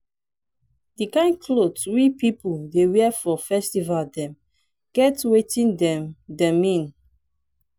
di kind clot we pipu dey wear for festival dem get wetin dem dem mean.